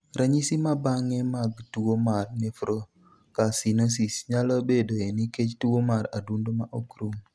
Ranyisi ma bang'e mag tuwo mar nephrocalcinosis nyalo bedoe nikech tuwo mar adundo ma ok rum.